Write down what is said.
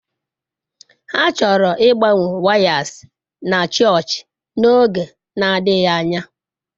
Ha chọrọ ịgbanwe wires na chọọchị n'oge na-adịghị anya.